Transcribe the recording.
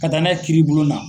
Ka taa n'a ye kiiribulon na.